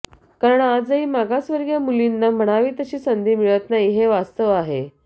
कारण आजही मागासवर्गीय मुलींना म्हणावी तशी संधी मिळत नाही हे वास्तव आहे